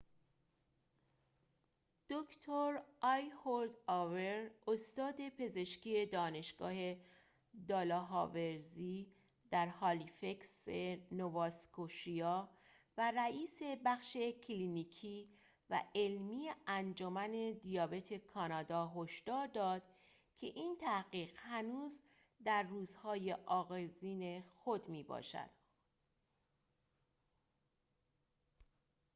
دکتر ایهود اور استاد پزشکی دانشگاه دالهاوزی در هلیفکس نوااسکوشیا و رئیس بخش کلینیکی و علمی انجمن دیابت کانادا هشدار داد که این تحقیق هنوز در روزهای آغازین خود می‌باشد